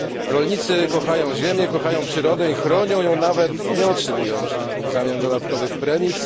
Rolnicy kochają ziemię, kochają przyrodę i chronią ją, nawet nie otrzymując w zamian dodatkowych premii.